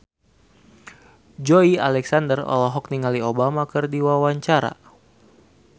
Joey Alexander olohok ningali Obama keur diwawancara